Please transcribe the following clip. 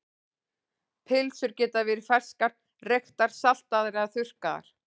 Pylsur geta verið ferskar, reyktar, saltaðar eða þurrkaðar.